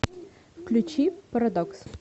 включи парадокс